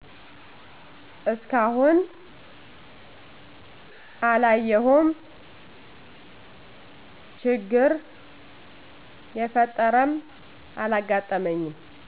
እስካሁን አላየሁም ችግር የፈጠረም አላጋጠመኝም።